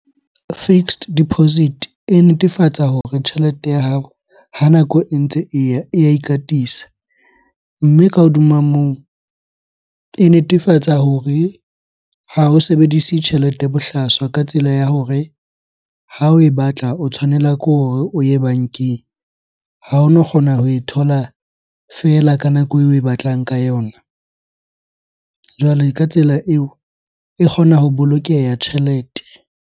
Fixed deposit e netefatsa hore tjhelete ya hao ha nako e ntse e ya ikatisa. Mme ka hodima moo, e netefatsa hore ha o sebedise tjhelete bohlaswa ka tsela ya hore, ha oe batla o tshwanela ke hore o ye bankeng. Ha ono kgona ho e thola fela ka nako eo oe batlang ka yona. Jwale ka tsela eo e kgona ho bolokeha tjhelete.